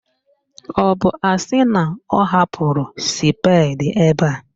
Ọ bụ asị na ọ hapụrụ spedi ebe a